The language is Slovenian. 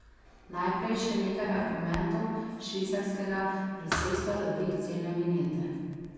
Najprej še nekaj argumentov švicarskega predsedstva za dvig cene vinjete.